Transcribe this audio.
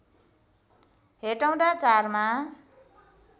हेटौँडा ४ मा